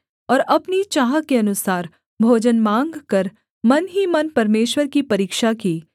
और अपनी चाह के अनुसार भोजन माँगकर मन ही मन परमेश्वर की परीक्षा की